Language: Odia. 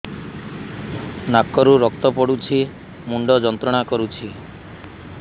ନାକ ରୁ ରକ୍ତ ପଡ଼ୁଛି ମୁଣ୍ଡ ଯନ୍ତ୍ରଣା କରୁଛି